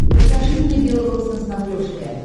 покажи мне бел рос на смотрешке